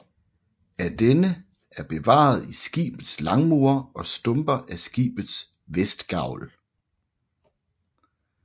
Af denne er bevaret skibets langmure og stumper af skibets vestgavl